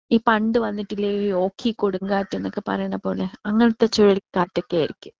ഈ പണ്ട് വന്നിട്ടില്ലേ ഈ ഓഖി കൊടുംകാറ്റ് എന്നൊക്കെ പറയണ പോലെ അങ്ങനത്തെ ചുയലി കാറ്റൊക്കെ ആയിരിക്കും.